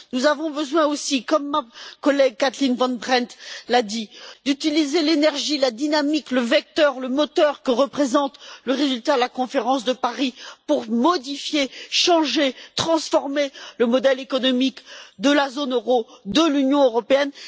Nous avons besoin aussi comme ma collègue Kathleen Van Brempt l'a dit d'utiliser l'énergie, la dynamique, le vecteur et le moteur que représente le résultat de la conférence de Paris pour modifier, changer et transformer le modèle économique de la zone euro et de l'Union européenne.